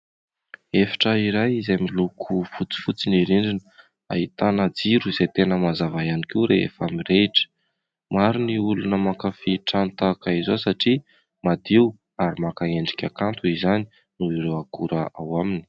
Efitra iray izay miloko fotsifotsy ny rindrina, ahitana jiro izay tena mazava ihany koa rehefa mirehitra; maro ny olona mankafia trano tahaka izao satria madio ary maka endrika kanto izany noho ireo akora ao aminy.